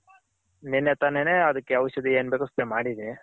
ನೆನ್ನೆ ತಾನೆನೆ ಅದಕ್ಕೆ ಔಷದಿ ಏನ್ ಬೇಕೋ spray ಮಾಡಿದಿನಿ.